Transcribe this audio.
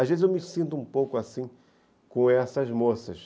Às vezes eu me sinto um pouco assim com essas moças.